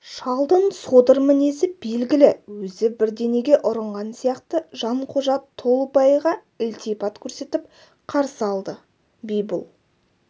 шалдың содыр мінезі белгілі өзі бірдеңеге ұрынған сияқты жанқожа толыбайға ілтипат көрсетіп қарсы алды би бұл